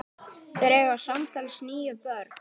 Þeir eiga samtals níu börn.